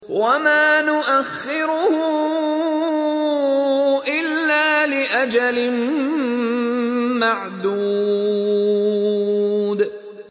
وَمَا نُؤَخِّرُهُ إِلَّا لِأَجَلٍ مَّعْدُودٍ